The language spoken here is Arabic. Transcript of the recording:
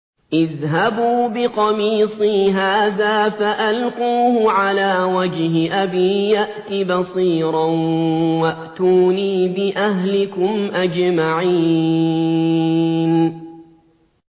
اذْهَبُوا بِقَمِيصِي هَٰذَا فَأَلْقُوهُ عَلَىٰ وَجْهِ أَبِي يَأْتِ بَصِيرًا وَأْتُونِي بِأَهْلِكُمْ أَجْمَعِينَ